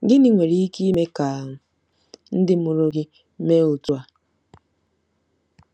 Gịnị nwere ike ime ka ndị mụrụ gị mee otú a?